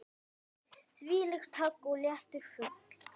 Þvílíkt högg og léttur fugl.